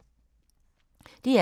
DR K